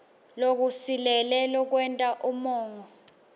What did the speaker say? lokusilele lokwenta umongo